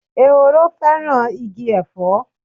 Ehoro fẹ́ràn igi Ẹ̀fọ́.